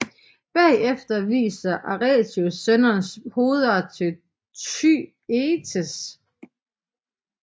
Bagefter viser Atreus sønnernes hoveder til Thyestes